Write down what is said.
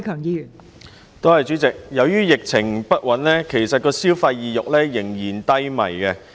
由於疫情不穩，消費意欲其實依然低迷。